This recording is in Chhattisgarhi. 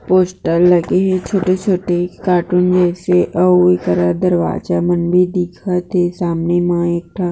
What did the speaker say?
पोस्टर लगे हे छोटे छोटे कार्टून जैसे अउ इकरा दरवाजा मन भी दिखत थे सामने मा एक ठा